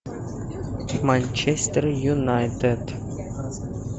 манчестер юнайтед